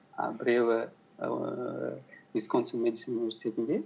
і біреуі ііі висконсинг мэдисон университетінде